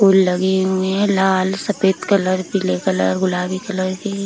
फूल लगी हुई हैं लाल सफेद कलर पीले कलर गुलाबी कलर की।